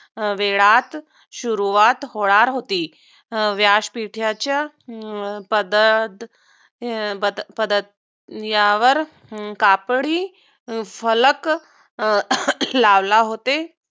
वेळात सुरुवात होणार होती. अं व्यासपीठाच्या पदातपदात कापडी फलक लावला होते.